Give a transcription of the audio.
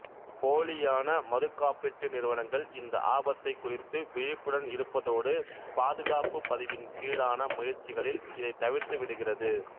போலியான மறுகாப்பீட்டு நிறுவனங்கள் இந்த ஆபத்தைக் குறித்து விழிப்புடன் இருப்பதோடு பாதுகாப்புப் பதிவின் கீழான முயற்சிகளில் இதைத் தவிர்த்துவிடுகிறது